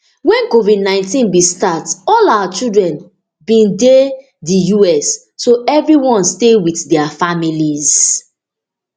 wen covidnineteen bin start all our children bin dey di us so evri one stay wit dia families